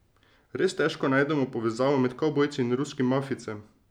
Res težko najdemo povezavo med kavbojcem in ruskim mafijcem.